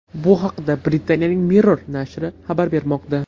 Bu haqda Britaniyaning Mirror nashri xabar bermoqda .